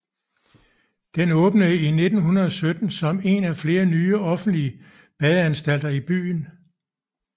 Den åbnede i 1917 som en af flere nye offentlige badeanstalter i byen